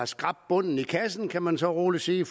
skrabe bunden i kassen kan man så roligt sige